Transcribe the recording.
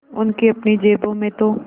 उनकी अपनी जेबों में तो